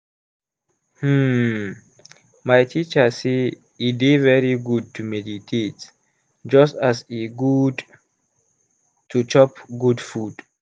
hmm my teacher say e dey very good to meditate just as e good to chop good food.